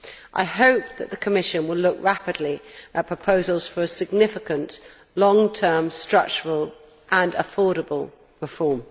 I hope the Commission will look rapidly at proposals for a significant long term structural and affordable reform.